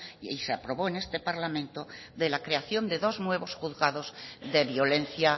y se aprobó en este parlamento de la creación de dos nuevos juzgados de violencia